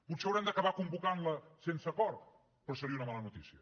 potser haurem d’acabar convocantla sense acord però seria una mala notícia